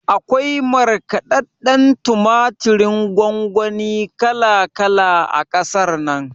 Akwai markaɗadɗen tumaturin gongoni kala kala a ƙasar nan